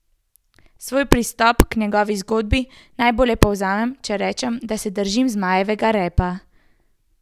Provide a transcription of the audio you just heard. Svoj pristop k njegovi zgodbi najbolje povzamem, če rečem, da se držim zmajevega repa.